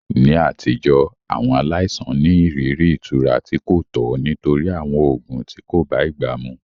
Ní àtijọ́, àwọn aláìsàn ní ìrírí ìtura tí kò tọ́ nítorí àwọn oògùn tí kò bá ìgbà mu.